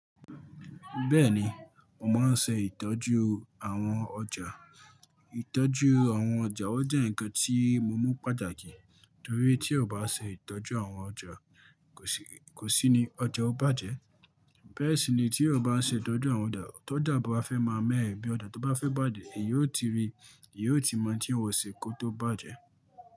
Bẹ́ẹ̀ni, mo máa ń ṣe ìtọ́jú àwọn ọjà. Ìtọ́jú àwọn ọjà jẹ́ ǹkan tí mo mú pàtàkì torí tí a bá ṣe ìtọ́jú àwọn ọjà kò sí ní ọjà ó bàjẹ́. Bẹ́ẹ̀ sì ni tí a bá ṣe ìtọ́jú àwọn ọjà, tó dàbọ̀ fẹ́ máa mẹ́ ẹbí ọjà tó bá fẹ́ bàjẹ́, èyí ó ti rí, èyí ó ti mọ̀ tí ǹ ó ṣe kó tó bàjẹ́